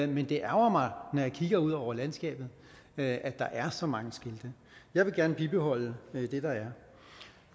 men det ærgrer mig når jeg kigger ud over landskabet at der er så mange skilte jeg vil gerne bibeholde